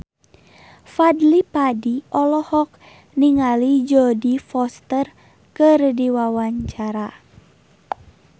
Fadly Padi olohok ningali Jodie Foster keur diwawancara